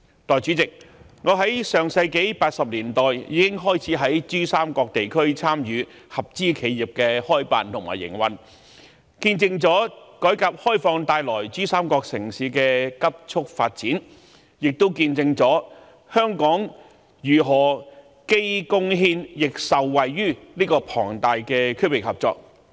代理主席，我在上世紀1980年代已開始於珠三角地區參與合資企業的開辦和營運，見證了改革開放為珠三角城市帶來的急促發展，亦見證了香港如何既貢獻亦受惠於這個龐大的區域合作。